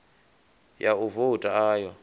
ya u vouta a yo